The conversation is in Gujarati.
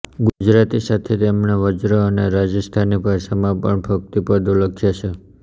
ગુજરાતી સાથે તેમણે વ્રજ અને રાજસ્થાની ભાષામાં પણ ભક્તિ પદો લખ્યા છે